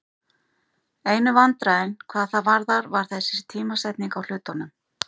Einu vandræðin hvað það varðar var þessi tímasetning á hlutunum.